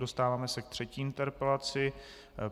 Dostáváme se k třetí interpelaci.